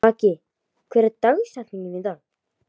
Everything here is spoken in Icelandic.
Haki, hver er dagsetningin í dag?